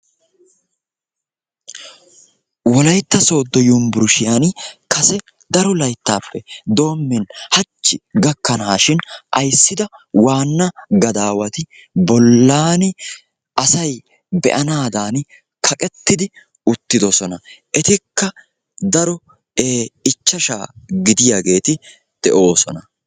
Wolaytta Soddo Yunbburushshiyaan kase daro layttappe doommin hachchi gakkanashin ayssida waana gadawati bollan asay be'anadan kaqetti uttidossona; etikka dari ichashsha gidiyaageeti de'ossona.